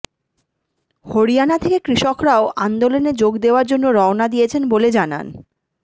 হরিয়ানা থেকে কৃষকরাও আন্দোলনে যোগ দেওয়ার জন্য রওনা দিয়েছেন বলে জানান